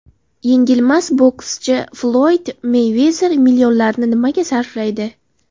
Yengilmas bokschi Floyd Meyvezer millionlarini nimalarga sarflaydi?.